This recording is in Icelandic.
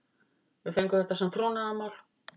Við fengum þetta sem trúnaðarmál